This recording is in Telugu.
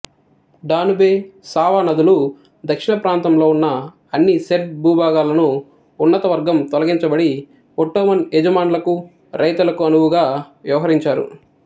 డానుబే సావ నదులు దక్షిణప్రాంతంలో ఉన్న అన్ని సెర్బ్ భూభాగాలను ఉన్నతవర్గం తొలగించబడి ఒట్టోమన్ యజమాన్లకు రైతులకు అనువుగా వ్యవహరించారు